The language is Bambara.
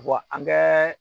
Wa an kɛ